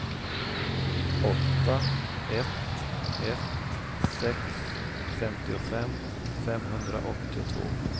åtta ett ett sex femtiofem femhundraåttiotvå